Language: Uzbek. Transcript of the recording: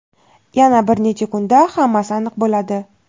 yana bir necha kunda hammasi aniq bo‘ladi.